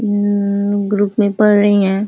अ-म-म group में पड़ रही हैं।